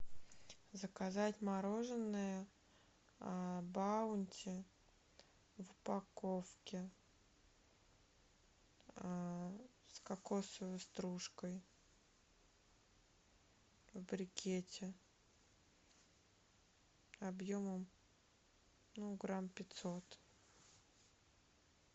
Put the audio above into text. заказать мороженое баунти в упаковке с кокосовой стружкой в брикете объемом ну грамм пятьсот